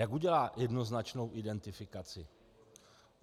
Jak udělá jednoznačnou identifikaci?